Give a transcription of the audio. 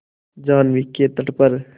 जाह्नवी के तट पर